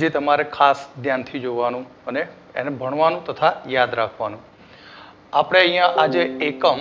જે તમારે ખાસ ધ્યાનથી જોવાનું છે અને ભણવાનું છે તથા યાદ રાખવાનું છે. આપડે અહિયાં આજે એકમ